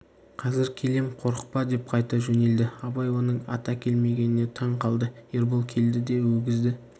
қазір келем қорықпа деп қайта жөнелді абай оның ат әкелмегеніне таң қалды ербол келді де өгізді